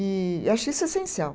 E acho isso essencial.